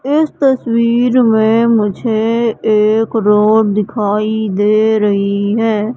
इस तस्वीर में मुझे एक रोड दिखाई दे रही है।